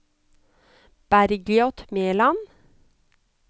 Bergljot Mæland